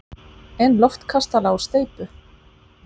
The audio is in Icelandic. En loftkastala úr steypu!